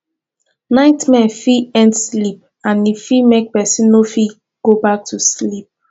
nightmare fit end sleep and e fit make person no fit go back to sleep